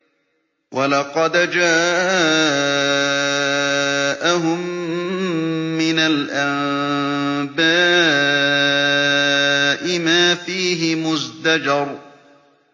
وَلَقَدْ جَاءَهُم مِّنَ الْأَنبَاءِ مَا فِيهِ مُزْدَجَرٌ